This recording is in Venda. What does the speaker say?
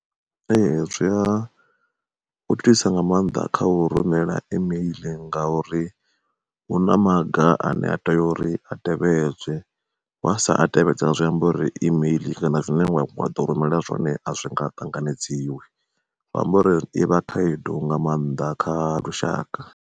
Ee zwi a nga maanḓa kha u rumela imeiḽi, nga uri hu na maga ane a tea uri a tevhedzwe, wa sa a tevhedza zwi amba uri imeiḽi kana zwine wa ḓo rumela zwone a zwi nga ṱanganedziwi, zwi amba uri i vha khaedu nga maanḓa kha lushaka.